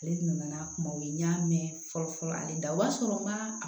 Ale nana n'a kumaw ye n y'a mɛn fɔlɔ fɔlɔ hali o y'a sɔrɔ n ma